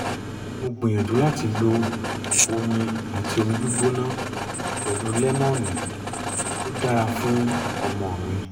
mo gbìyànjú láti lo oyin um àti omi gbígbóná pẹ̀lú lẹ́mónì ó dára fún ọmọ mi